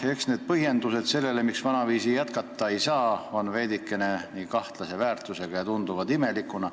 Eks need põhjendused, miks vanaviisi jätkata ei saa, on veidike kahtlase väärtusega ja tunduvad imelikuna.